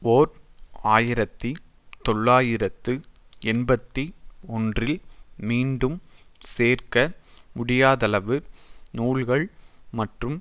ஓர் ஆயிரத்தி தொள்ளாயிரத்து எண்பத்தி ஒன்றில் மீண்டும் சேர்க்க முடியாதளவு நூல்கள் மற்றும்